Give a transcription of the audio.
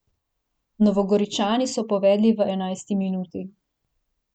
Novogoričani so povedli v enajsti minuti.